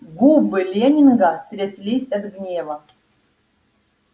губы лэннинга тряслись от гнева